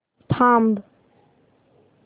थांब